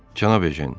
Cənab Ejen.